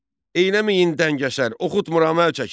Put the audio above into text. Eyləməyin dəngəsər, oxutmuram əl çəkin!